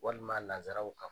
Walima Lazaraw ka